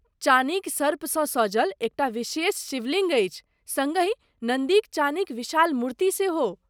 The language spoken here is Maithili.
चानीक सर्पसँ सजल एक टा विशेष शिवलिङ्ग अछि, सङ्गहि नन्दीक चानीक विशाल मूर्ति सेहो।